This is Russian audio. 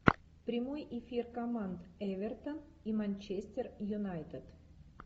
прямой эфир команд эвертон и манчестер юнайтед